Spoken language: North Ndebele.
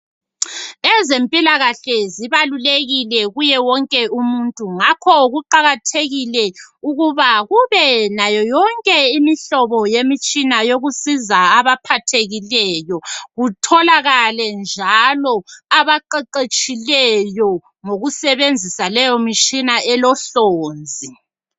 Ezempilakahle zibalulekile kuye wonke umuntu, ngakho kuqakathekile ukuba kube nayo yonke imihlobo yemitshina yokusiza abaphathekileyo kutholakale njalo abaqeqetshileyo ngokusebenzisa leyo mitshina elohlonzi.